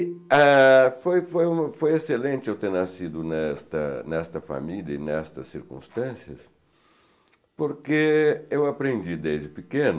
E ah foi foi excelente eu ter nascido nesta família e nestas circunstâncias, porque eu aprendi desde pequeno